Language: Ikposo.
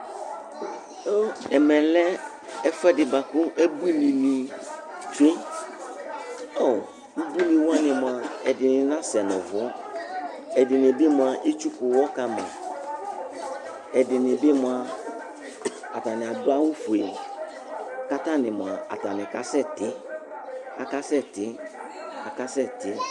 Ɛmɛ lɛ ɛfuɛdi bua ku ebuini nì tsue, ubuini wa ni mua ɛdini n'asɛ nu uvú, ɛdini bi mua etsuku uwɔ kama, ɛdini bi mua atani adu awu fue k' atani mua atani ka sɛ tí aka sɛ tí aka sɛ tí